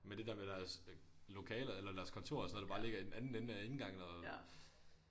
Med det der med deres øh lokaler eller deres kontorer og sådan noget der bare ligger i den anden ende af indgangen og